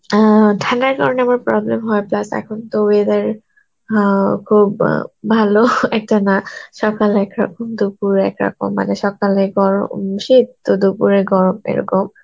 অ্যাঁ ঠান্ডার কারণে আমার problem হয় plus এখন তো weather হাওয়া খুব অ্যাঁ ভালো একটা না সকালে একরকম দুপুরে একরকম, মানে সকালে গরম দুপুরে গরম এরকম